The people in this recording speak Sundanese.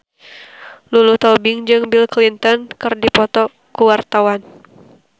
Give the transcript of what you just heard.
Lulu Tobing jeung Bill Clinton keur dipoto ku wartawan